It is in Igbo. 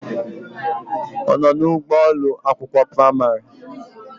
Ono na ugbo Ụlọ akwụkwọ praịmarị?